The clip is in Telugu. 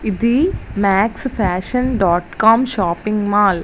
ఇది Max fashion dot com shopping mall .